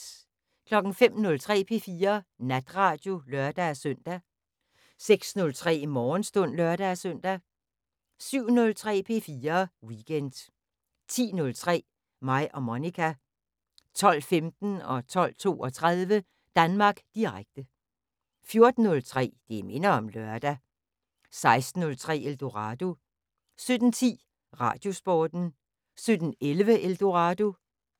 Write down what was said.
05:03: P4 Natradio (lør-søn) 06:03: Morgenstund (lør-søn) 07:03: P4 Weekend 10:03: Mig og Monica 12:15: Danmark Direkte 12:32: Danmark Direkte 14:03: Det minder om lørdag 16:03: Eldorado 17:10: Radiosporten 17:11: Eldorado